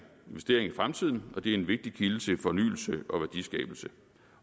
investering i fremtiden og det er en vigtig kilde til fornyelse og værdiskabelse